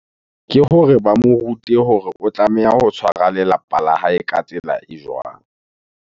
Ke hore ba mo rute hore o tlameha ho tshwara lelapa la hae ka tsela e jwang?